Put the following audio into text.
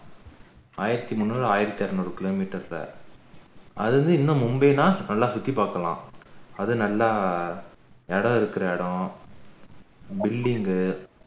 ஆயிரத்து முந்நூறு ஆயிரத்து அறுநூறு kilometers தான் அதுல இருந்து இன்னும் மும்பைனா நல்லா சுத்தி பாக்கலாம் அது நல்லா இடம் இருக்கிற இடம் building